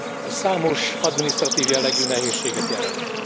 Ez számos adminisztratív jellegű nehézséget jelent.